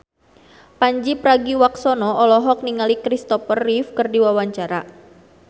Pandji Pragiwaksono olohok ningali Christopher Reeve keur diwawancara